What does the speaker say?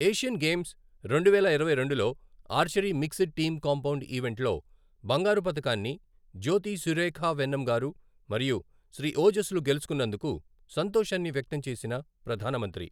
Asian games రెండువేల ఇరవై రెండులో archery mixed team compound event లో బంగారు పతకాన్ని జ్యోతి సురేఖవెన్నమ్ గారు మరియు శ్రీ ఓజస్ లు గెలుచుకొన్నందుకు సంతోషాన్ని వ్యక్తం చేసిన ప్రధాన మంత్రి